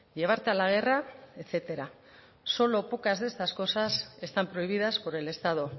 llevarte a la guerra etcétera solo pocas de estas cosas están prohibidas por el estado